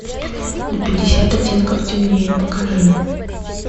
на пятьдесят оттенков темнее покажи